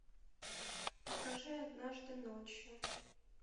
покажи однажды ночью